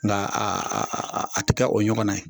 Nka a a a tɛ kɛ o ɲɔgɔnna ye.